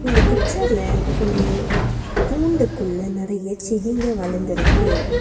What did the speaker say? இந்த பிச்சர்ல ஒரு கூண்டுக்குள்ள நெறைய செடிங்க வளந்துருக்கு.